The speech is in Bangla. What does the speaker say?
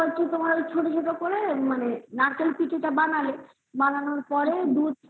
ছোট করে নারকেল পিঠা যেটা বানায় বানানোর পরে দুধ